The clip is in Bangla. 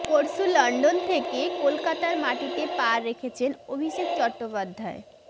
পরশু লন্ডন থেকে কলকাতার মাটিতে পা রেখেছেন অভিষেক চট্টোপাধ্যায়